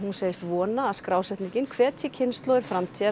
segist vona að skrásetningin hvetji kynslóðir framtíðar